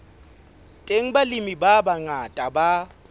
teng balemi ba bangata ba